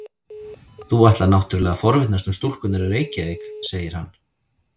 Þú ætlar náttúrlega að forvitnast um stúlkurnar í Reykjavík, segir hann.